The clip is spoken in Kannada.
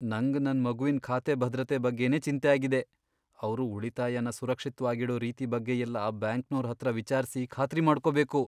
ನಂಗ್ ನನ್ ಮಗುವಿನ್ ಖಾತೆ ಭದ್ರತೆ ಬಗ್ಗೆನೇ ಚಿಂತೆ ಆಗಿದೆ, ಅವ್ರು ಉಳಿತಾಯನ ಸುರಕ್ಷಿತ್ವಾಗಿಡೋ ರೀತಿ ಬಗ್ಗೆಯೆಲ್ಲ ಬ್ಯಾಂಕ್ನೋರ್ ಹತ್ರ ವಿಚಾರ್ಸಿ ಖಾತ್ರಿ ಮಾಡ್ಕೊಬೇಕು.